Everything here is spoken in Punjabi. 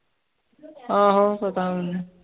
ਆਹੋ ਪਤਾ ਮੈਨੂੰ